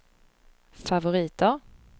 favoriter